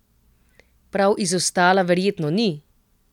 Prav izostala verjetno ni?